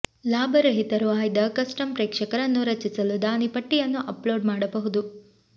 ಲಾಭರಹಿತರು ಆಯ್ದ ಕಸ್ಟಮ್ ಪ್ರೇಕ್ಷಕರನ್ನು ರಚಿಸಲು ದಾನಿ ಪಟ್ಟಿಯನ್ನು ಅಪ್ಲೋಡ್ ಮಾಡಬಹುದು